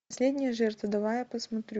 последняя жертва давай я посмотрю